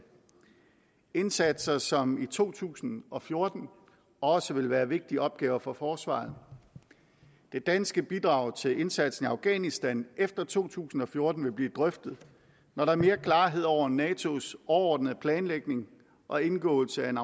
indsatser som i to tusind og fjorten også vil være vigtige opgaver for forsvaret det danske bidrag til indsatsen i afghanistan efter to tusind og fjorten vil blive drøftet når der er mere klarhed over natos overordnede planlægning og indgåelsen af en